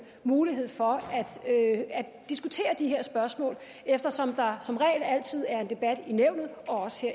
mulighed for at diskutere de her spørgsmål eftersom der som regel altid er en debat